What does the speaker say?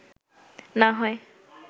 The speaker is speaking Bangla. না হয়